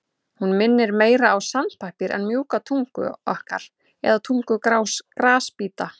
Hún minnir meira á sandpappír en mjúka tungu okkar eða tungu grasbíta.